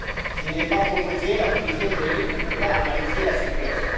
S'il n'est pas proposé, la commission juridique ne peut pas analyser la situation.